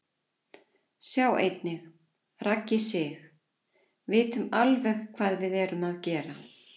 Sjá einnig: Raggi Sig: Vitum alveg hvað við erum að gera